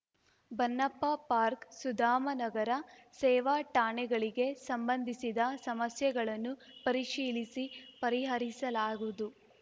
ಬನ್ನಪ್ಪ park Sudhamanagar ಸೇವಾ ಠಾಣೆಗಳಿಗೆ ಸಂಬಂಧಿಸಿದ ಸಮಸ್ಯೆಗಳನ್ನು ಪರಿಶೀಲಿಸಿ ಪರಿಹರಿಸಲಾಗುವುದು